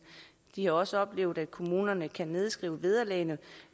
de har også oplevet at kommunerne kan nedskrive vederlagene